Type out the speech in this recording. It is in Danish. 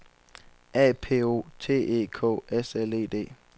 A P O T E K S L E D